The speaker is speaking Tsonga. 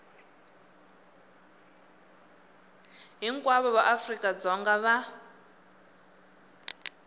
hinkwavo va afrika dzonga va